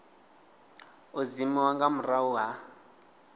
u dzimiwa nga murahu ha